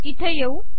इथे येऊ